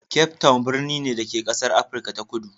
Cape Town birni ne, da ke a ƙasar Afirka ta Kudu.